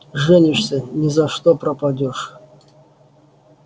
женишься ни за что пропадёшь